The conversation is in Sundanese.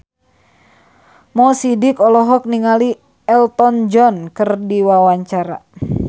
Mo Sidik olohok ningali Elton John keur diwawancara